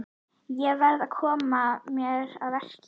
Ég verð að koma mér að verki.